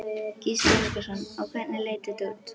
Gísli Óskarsson: Og hvernig leit þetta út?